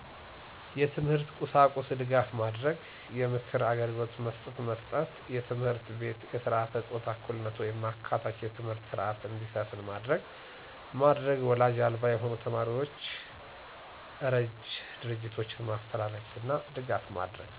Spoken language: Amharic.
የትምህርት ቁሳቁስ ድጋፍ ማድረግ። የምክር አግልግሎት መስጠት መስጠት። በትምህርት ቤት የስረዓተ ፆታ እኩልነት ወይም አካታች የትምህርት ስረዐት እንዲሰፍን ማድረግ ማድረግ ወላጅ አልባ የሆኑ ተማሪዎችን እረጅ ድርጆቶችን ማፈላለግና ድጋፍ ማድረግ